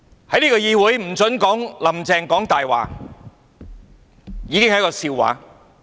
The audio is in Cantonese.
在這個議會不准說"'林鄭''講大話'"已經是一個笑話。